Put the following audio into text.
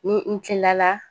Ni n tilala